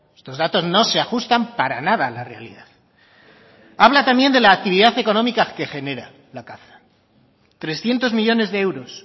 estos datos no se ajustan para nada a la realidad habla también de la actividad económica que genera la caza trescientos millónes de euros